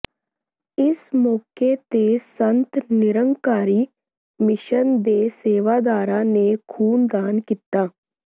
ਇਸ ਮੌਕੇ ਤੇ ਸੰਤ ਨਿਰੰਕਾਰੀ ਮਿਸ਼ਨ ਦੇ ਸੇਵਾਦਾਰਾਂ ਨੇ ਖੂਨਦਾਨ ਕੀਤਾ